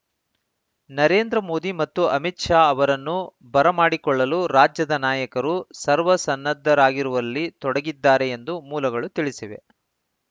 ನರೇಂದ್ರ ಮೋದಿ ಮತ್ತು ಅಮಿತ್‌ ಶಾ ಅವರನ್ನು ಬರಮಾಡಿಕೊಳ್ಳಲು ರಾಜ್ಯದ ನಾಯಕರು ಸರ್ವಸನ್ನದ್ಧರಾಗಿರುವಲ್ಲಿ ತೊಡಗಿದ್ದಾರೆ ಎಂದು ಮೂಲಗಳು ತಿಳಿಸಿವೆ